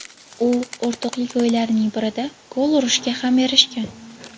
U o‘rtoqlik o‘yinlarining birida gol urishga ham erishgan .